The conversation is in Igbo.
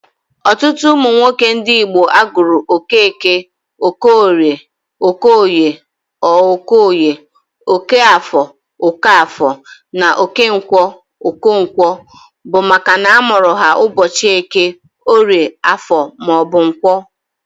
Ọtụtụ ụmụ nwoke ndị Igbo a gụrụ Okeke, Okeorie (Okeoye or Okoye), Okeafọ (Okafọ) na Okenkwọ (Okonkwọ), bụ makana a mụrụ ha ụbọchị Eke, Orie, Afọ ma ọ bụ Nkwọ.